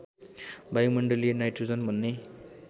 वायुमण्डलीय nitrogen भन्ने